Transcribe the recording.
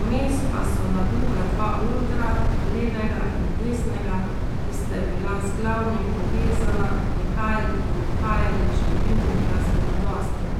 vmes pa so na druga dva odra, levega in desnega, ki sta bila z glavnim povezana, prihajali in odhajali številni glasbeni gostje.